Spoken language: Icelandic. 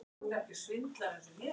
Eruð þið saman eða ekki?